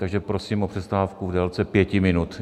Takže prosím o přestávku v délce pěti minut.